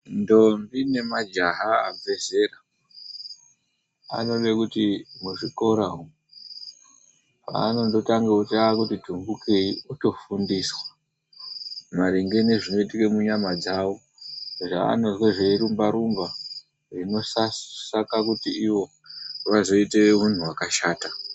Ndombi nemajaya abve zera, anode kuti muchikora umu, paanondotange kuti akuti tumbukei, votofundiswa maringe nezvinoitika munyama dzavo vaanozwe zveirumba rumba zvinosaka kuti ivo vazoite unhu hwakashata